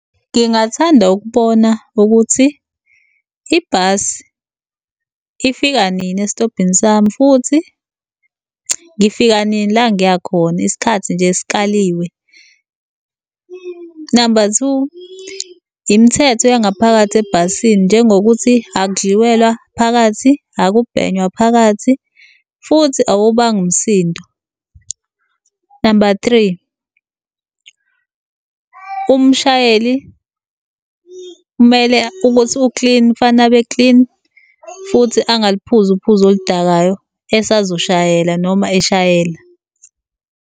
Ngingathanda ukubona ukuthi ibhasi ifika nini esitobhini sami futhi ngifika nini la ngiya khona, isikhathi nje esikaliwe. Namba two, imithetho yangaphakathi ebhasini njengokuthi akudliwelwa phakathi, akubhenywa phakathi, futhi awuwubangi umsindo. Namba three, umshayeli kumele ukuthi u-clean, kufanele abe clean futhi angaliphuzi uphuzo oludakayo esazoshayela noma eshayela.